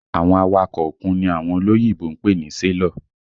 Àwọn awakọ̀ òkun ni àwọn olóyìnbo ń pè ní sélọ̀